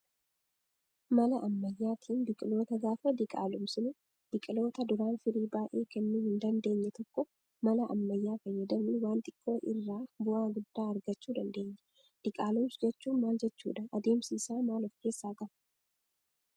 Mala ammayyaatiin biqiloota gaafa diqaalomsinu biqiloota duraan firii baay'ee kennuu hin dandeenye tokko mala ammayyaa fayyadamuun waan xiqqoo irraa bu'aa guddaa argachuu dandeenya. Diqaalomsuu jechuun maal jechuudha adeemsi isaa maal of keessaa qaba?